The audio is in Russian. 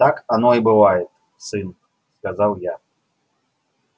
так оно и бывает сын сказал я